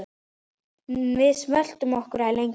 Nú sveltum við ekki lengur.